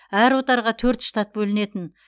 әр отарға төрт штат бөлінетін